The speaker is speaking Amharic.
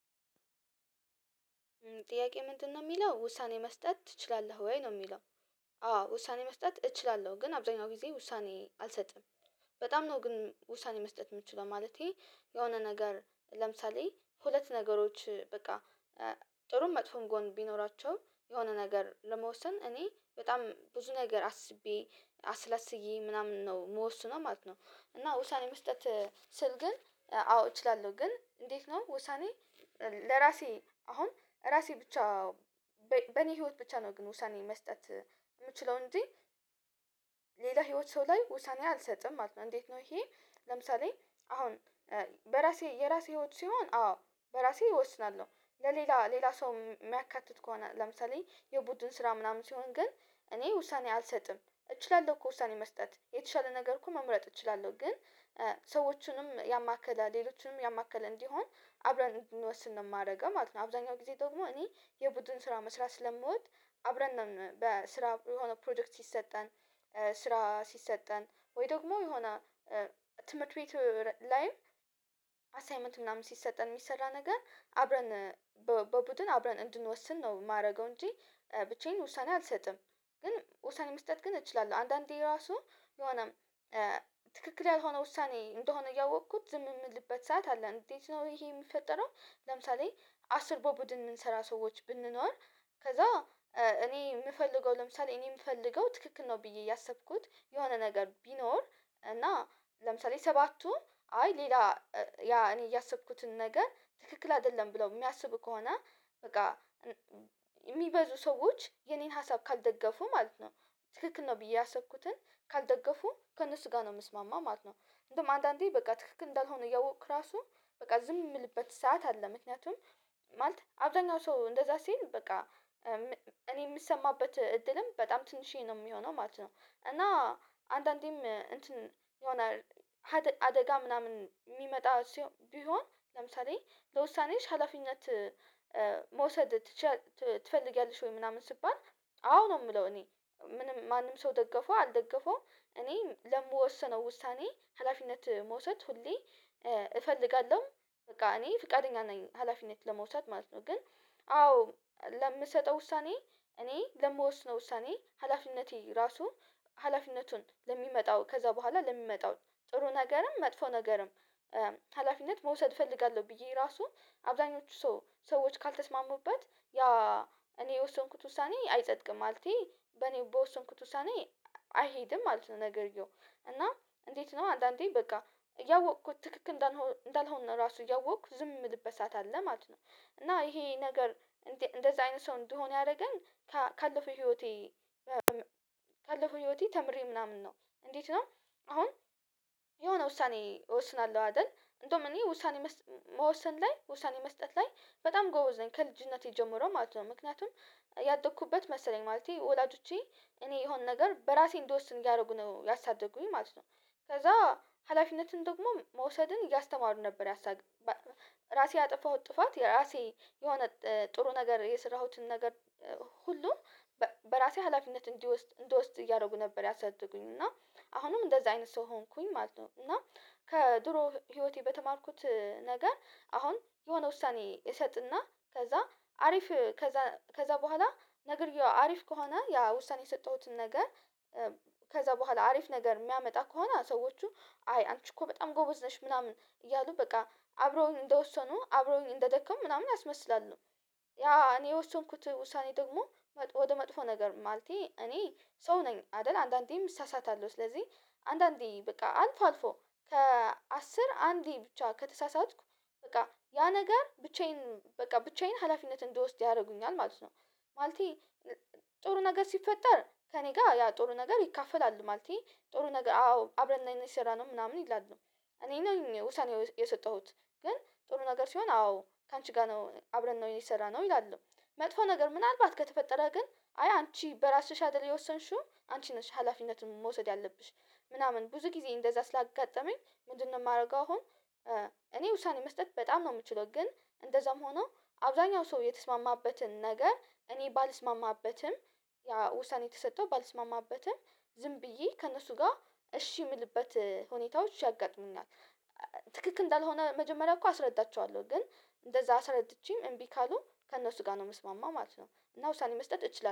ጥያቄ ምንድነው የሚለው ውሳኔ መስጠት ትችላለህ ወይ ነው የሚለው? አዎ ውሳኔ መስጠት እችላለሁ ግን አብዛኛው ጊዜ ውሳኔ አልሰጥም። በጣም ነው ግን ውሳኔ መስጠት የምትችለው ማለቴ የሆነ ነገር ለምሳሌ ሁለት ነገሮች በቃ ጥሩም መጥፎም ጎን ቢኖራቸውም የሆነ ነገር ለመወሰን እኔ በጣም ብዙ ነገር አስቤ አስላስዬ ምናምን ነው የምወስነው ማለት ነው። እና ውሳኔ መስጠት ስል ግን አዎ እችላለሁ ግን እንዴት ነው ውሳኔ? ለራሴ አሁን ራሴ ብቻ በኔ ህይወት ብቻ ነው ግን ውሳኔ መስጠት የምችለው እንጂ ሌላ ህይወት ሰው ላይ ውሳኔ አልሰጥም ማለት ነው። እንዴት ነው? ይሄ ለምሳሌ አሁን በራሴ የራሴ ህይወት ሲሆን አዎ በራሴ እወስናለሁ ለሌላ ሌላ ሰው የሚያካትት ከሆነ ለምሳሌ የቡድን ስራ ምናምን ሲሆን ግን እኔ ውሳኔ አልሰጥም እችላለሁ እኮ ውሳኔ መስጠት የተሻለ ነገር እኮ መምረጥ እችላለሁ ግን ሰዎቹንም ያማከለ ሌሎችንም ያማከለ እንዲሆን አብረን እንድንወስን ነው የማደርገው ማለት ነው። አብዛኛው ጊዜ ደግሞ እኔ የቡድን ስራ መስራት ስለምወድ አብረን ነው በስራ የሆነ ፕሮጀክት ሲሰጠን ስራ ሲሰጠን ወይ ደግሞ የሆነ ትምህርት ቤት ላይም አሳይመንት ምናምን ሲሰጠን የሚሰራ ነገር አብረን በቡድን አብረን እንድንወስን ነው የማደርገው እንጂ ብቻዬን ውሳኔ አልሰጥም። ግን ውሳኔ መስጠት ግን እችላለሁ። አንዳንዴ ራሱ የሆነ ትክክል ያልሆነ ውሳኔ እንደሆነ እያወኩት ዝም የምልበት ሰዓት አለ። እንዴት ነው ይሄ የሚፈጠረው? ለምሳሌ አስር በቡድን የምንሰራ ሰዎች ብንኖር ከዛ እኔ የምፈልገው ለምሳሌ እኔ የምፈልገው ትክክል ነው ብዬ እያሰብኩት የሆነ ነገር ቢኖር እና ለምሳሌ ሰባቱ አይ ሌላ ያ እኔ እያሰብኩትን ነገር ትክክል አይደለም ብለው የሚያስቡ ከሆነ በቃ የሚበዙ ሰዎች የኔን ሀሳብ ካልደገፉ ማለት ነው ትክክል ነው ብዬ ያሰብኩትን ካልደገፉ ከእነሱ ጋር ነው የምስማማው ማለት ነው። እንደውም አንዳንዴ በቃ ትክክል እንዳልሆነ እያወቅክ ራሱ በቃ ዝም የምልበት ሰዓት አለ። ምክንያቱም ማለት አብዛኛው ሰው እንደዛ ሲል በቃ እኔ የምሰማበት እድልም በጣም ትንሽዬ ነው የሚሆነው ማለት ነው። እና አንዳንዴም እንትን የሆነ አደጋ ምናምን የሚመጣ ሲሆን ቢሆን ለምሳሌ ለውሳኔሽ ሀላፊነት መውሰድ ትችያለሽ ትፈልጊያለሽ ወይ ምናምን ስባል አዎ ነው የምለው እኔ ምንም ማንም ሰው ደገፈው አልደገፈውም እኔ ለምወሰነው ውሳኔ ሀላፊነት መውሰድ ሁሌ እፈልጋለሁ በቃ እኔ ፍቃደኛ ነኝ ሀላፊነት ለመውሰድ ማለት ነው። ግን አዎ ለምሰጠው ውሳኔ እኔ ለምወስነው ውሳኔ ሀላፊነቴ ራሱ ሀላፊነቱን ለሚመጣው ከዛ በኋላ ለሚመጣው ጥሩ ነገርም መጥፎ ነገርም ሀላፊነት መውሰድ እፈልጋለሁ ብዬ ራሱን አብዛኞቹ ሰዎች ካልተስማሙበት ያ እኔ የወሰንኩት ውሳኔ አይጸድቅም ማለቴ በኔ በወስንኩት ውሳኔ አይሄድም ማለት ነው። ነገርየው እና እንዴት ነው አንዳንዴ በቃ እያወኩት ትክክል እንዳልሆነ ራሱ እያወቅኩ ዝም የምልበት ሰዓት አለ ማለት ነው። እና ይሄ ነገር እንደዚህ አይነት ሰው እንድሆን ያደረገን ካለፈው ህይወቴ ካለፈው ህይወቴ ተምሬ ምናምን ነው እንዴት ነው? አሁን የሆነ ውሳኔ እወስናለሁ አይደል? እንደውም እኔ ውሳኔ መወሰን ላይ ውሳኔ መስጠት ላይ በጣም ጎበዝ ነኝ ከልጅነቴ ጀምሮ ማለት ነው። ምክንያቱም ያደኩበት መሰለኝ ማለቴ ወላጆቼ እኔ የሆን ነገር በራሴ እንዲወስን እያደረጉ ነው ያሳደጉኝ ማለት ነው። ከዛ ሀላፊነትን ደግሞ መውሰድን እያስተማሩ ነበር ያሳገነ ራሴ ያጠፋሁት ጥፋት የራሴ የሆነ ጥሩ ነገር የሰራሁትን ነገር ሁሉ በራሴ ሀላፊነት እንዲወስድ እንድወስድ እያደረጉ ነበር ያሳደጉኝ እና አሁንም እንደዛ አይነት ሰው ሆንኩኝ ማለት ነው። እና ከድሮ ህይወቴ በተማርኩት ነገር አሁን የሆነ ውሳኔ እሰጥና ከዛ አሪፍ ከዛ ከዛ በኋላ ነግርየው አሪፍ ከሆነ ያ ውሳኔ የሰጠሁትን ነገር ከዛ በኋላ አሪፍ ነገር የሚያመጣ ከሆነ ሰዎቹ አይ አንቺ እኮ በጣም ጎበዝ ነሽ ምናምን እያሉ በቃ አብረውኝ እንደወሰኑ አብረውኝ እንደደከሙ ምናምን አስመስላሉ። ያ እኔ የወሰንኩት ውሳኔ ደግሞ ወደ መጥፎ ነገር ማለቴ እኔ ሰው ነኝ አይደል አንዳንዴም እሳሳታለሁ ስለዚህ አንዳንዴ በቃ አልፎ አልፎ ከአስር አንዴ ብቻ ከተሳሳትኩ በቃ ያ ነገር ብቻዬን በቃ ብቻዬን ሀላፊነት እንደወስደው ያደርጉኛል ማለት ነው። ማለቴ ጥሩ ነገር ሲፈጠር ከእኔ ጋር ያ ጥሩ ነገር ይካፈላሉ ማለቴ ጥሩ ነገር አዎ አብረን ነው የሰራነው ምናምን ይላሉ። እኔ ነኝ ውሳኔው የሰጠሁት ግን ጥሩ ነገር ሲሆን አዎ ካንቺ ጋር ነው አብረን ነው የሰራነው ይላሉ። መጥፎ ነገር ምናልባት ከተፈጠረ ግን አይ አንቺ በራስሽ አይደል የወሰንሽው አንቺ ነሽ ሀላፊነቱን መውሰድ ያለብሽ። ምናምን ብዙ ጊዜ እንደዛ ስላጋጠመኝ ምንድነው የማደርገው? አሁን እኔ ውሳኔ መስጠት በጣም ነው የምችለው። ግን እንደዛም ሆኖ አብዛኛው ሰው የተስማማበትን ነገር እኔ ባልስማማበትም ያ ውሳኔ የተሰጠው ባልስማማበትም ዝም ብዬ ከእነሱ ጋር እሺ የምልበት ሁኔታዎች ያጋጥሙናል። ትክክል እንዳልሆነ መጀመሪያ እኮ አስረዳቸዋለሁ ግን እንደዛ አስረድቼም እምቢ ካሉ ከእነሱ ጋር ነው መስማማ ማለት ነው። እና ውሳኔ መስጠት እችላለሁ